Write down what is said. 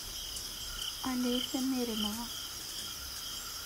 олеся меринова